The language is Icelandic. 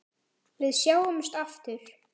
Við sjáumst aftur.